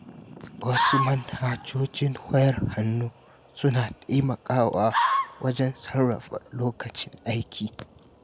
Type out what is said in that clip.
Wasu manhajojin wayar hannu suna taimakawa wajen sarrafa lokacin aiki.